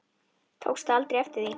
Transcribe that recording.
Tókstu aldrei eftir því?